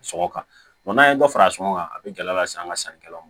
Sɔngɔ kan n'an ye dɔ fara sɔngɔn kan a bɛ gɛlɛya lase an ka sannikɛlaw ma